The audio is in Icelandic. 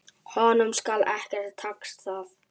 Honum skal ekki takast það!